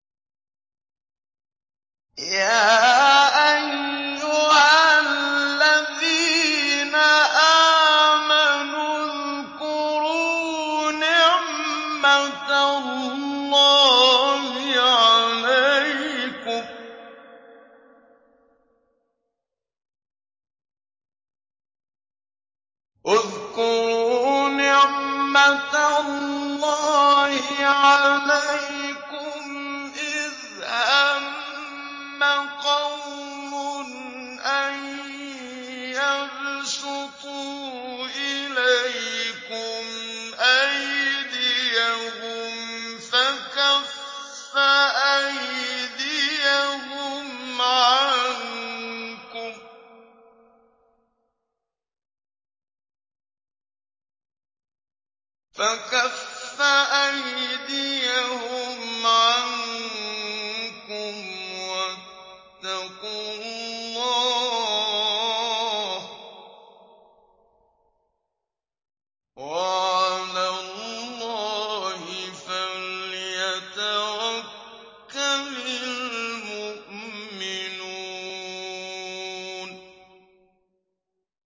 يَا أَيُّهَا الَّذِينَ آمَنُوا اذْكُرُوا نِعْمَتَ اللَّهِ عَلَيْكُمْ إِذْ هَمَّ قَوْمٌ أَن يَبْسُطُوا إِلَيْكُمْ أَيْدِيَهُمْ فَكَفَّ أَيْدِيَهُمْ عَنكُمْ ۖ وَاتَّقُوا اللَّهَ ۚ وَعَلَى اللَّهِ فَلْيَتَوَكَّلِ الْمُؤْمِنُونَ